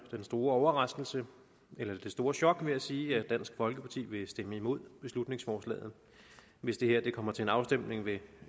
den store overraskelse eller det store chok ved at sige at dansk folkeparti vil stemme imod beslutningsforslaget hvis det kommer til en afstemning ved